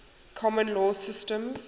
common law systems